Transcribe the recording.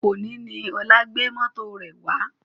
Òní ni Ọlá gbé mọ́tò rẹ̀ wá